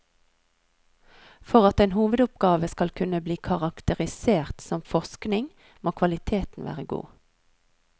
For at en hovedoppgave skal kunne bli karakterisert som forskning, må kvaliteten være god.